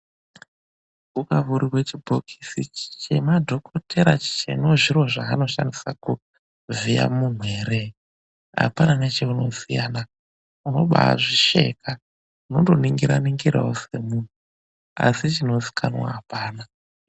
Ukavhurirwe chibhokisi chemadhokothera chino zviro zveanoshandisa kuvhiya munthu ere, apana necheunoziyana, unobaazvisheka. Unondo ningira-ningirawo semunhu, asi chinozikanwa apana.